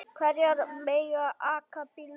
Hverjir mega aka bílnum?